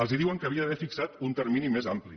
els diuen que haurien d’haver fixat un termini més ampli